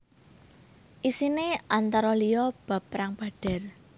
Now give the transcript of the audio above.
Isiné antara liya bab Perang Badar